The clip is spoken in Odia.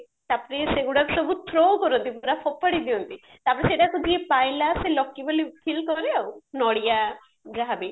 ତାପରେ ସେଗୁଡାକ ସବୁ through କରନ୍ତି ପୁରା ଫୋପାଡି ଦିଅନ୍ତି ତାପରେ ସେଇଟାକୁ ଯିଏ ପାଇଲା lucky ବୋଲି ଫୀଲ କରେ ଆଉ ନଡିଆ ଯାହା ବି